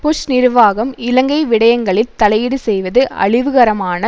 push நிர்வாகம் இலங்கை விடயங்களில் தலையீடு செய்வது அழிவுகரமான